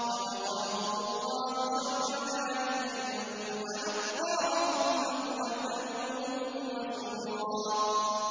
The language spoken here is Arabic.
فَوَقَاهُمُ اللَّهُ شَرَّ ذَٰلِكَ الْيَوْمِ وَلَقَّاهُمْ نَضْرَةً وَسُرُورًا